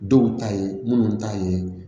Dɔw ta ye minnu ta ye